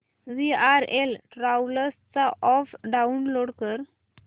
VRL travels चा app download कर